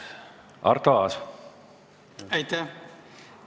Aitäh!